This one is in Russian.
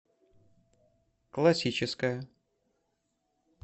классическая